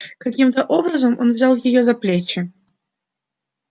каким то образом он взял её за плечи